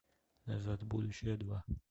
назад в будущее два